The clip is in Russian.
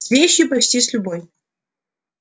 с вещью почти с любой